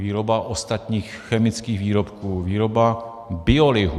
Výroba ostatních chemických výrobků, výroba biolihu.